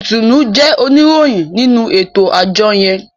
Itunu jé oníròyìn nínú eto-ajọ yẹn.